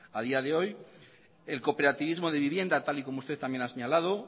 a día de hoy el cooperativismo de vivienda tal y como usted también ha señalado